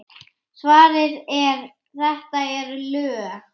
Svarið er: þetta eru lög!